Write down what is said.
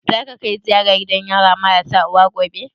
Za ka kai ziyara gidan yara marasa uwa gobe?